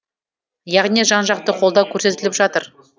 яғни жан жақты қолдау көрсетіліп жатыр